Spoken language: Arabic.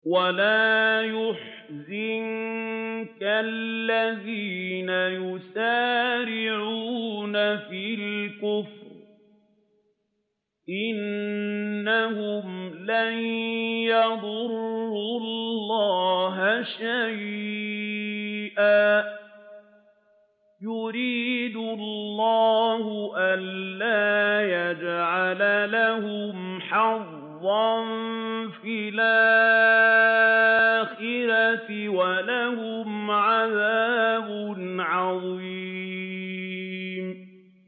وَلَا يَحْزُنكَ الَّذِينَ يُسَارِعُونَ فِي الْكُفْرِ ۚ إِنَّهُمْ لَن يَضُرُّوا اللَّهَ شَيْئًا ۗ يُرِيدُ اللَّهُ أَلَّا يَجْعَلَ لَهُمْ حَظًّا فِي الْآخِرَةِ ۖ وَلَهُمْ عَذَابٌ عَظِيمٌ